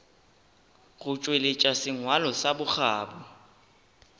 go tšweletša sengwalo sa bokgabo